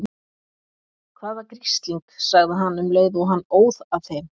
Hvaða grisling. sagði hann um leið og hann óð að þeim.